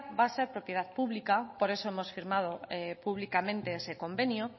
va a ser propiedad pública por eso hemos firmado públicamente ese convenio